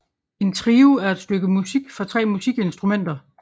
En trio er et stykke musik for tre musikinstrumenter